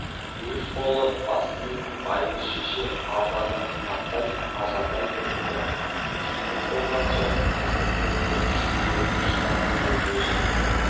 өз қолы бас білетін байғұс шеше арзанды қымбаттай ажарлай біліпті киініп болған соң қыздың көркі шүберек шынардың бойы өсіп